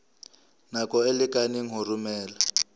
nako e lekaneng ho romela